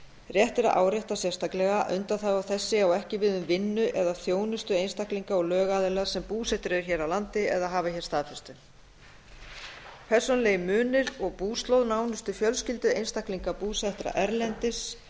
rétt er að árétta sérstaklega að undanþága þessi á ekki við um vinnu eða þjónustu einstaklinga og lögaðila sem búsettir eru hér á landi eða hafa hér staðfestu persónulegir munir og búslóð nánustu fjölskyldu einstaklinga búsettra erlendis